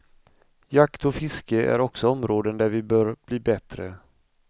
Jakt och fiske är också områden där vi bör bli bättre.